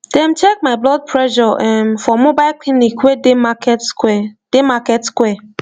dem check my blood pressure erm for mobile clinic wey dey market square dey market square